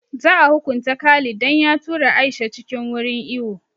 Za a hukunta Khalid dan ya tura Aisha cikin wurin iwo